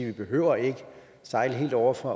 ikke behøver at sejle helt ovre fra